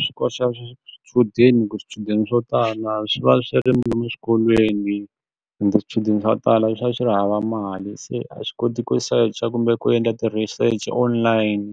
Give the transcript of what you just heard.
Swi koxa swichudeni ku swichudeni swo tala swi va swi eswikolweni ende swichudeni swo tala swi va swi ri hava mali se a swi koti ku search-a kumbe ku endla ti-research online ni